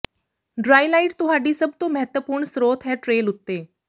ਡ੍ਰਾਈਲਾਈਟ ਤੁਹਾਡੀ ਸਭ ਤੋਂ ਮਹੱਤਵਪੂਰਣ ਸਰੋਤ ਹੈ ਟ੍ਰੇਲ ਉੱਤੇ